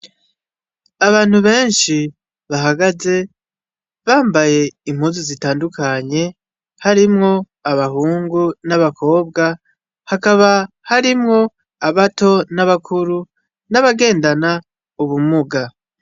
abantu benshi bahagaze bambaye impuzu zitandukanye harimwo abahungu n'abakobwa hakaba harimwo abato n'abakuru n'abagendana ubumuga.